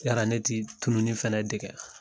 Yala ne tɛ tununi fɛnɛ dege wa